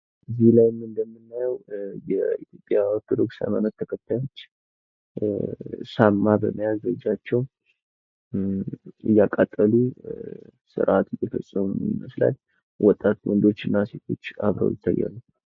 እዚህ ላይ እንደምናዬው የኦርቶዶክስ ሀይማኖት ተከታዮች ሻማ በመያዝ በእጃቸው እያቃጠሉ ስርአት እየፈፀሙ ይመስላል ወጣት ወዶችና ሴቶች አብረው ይታያሉ።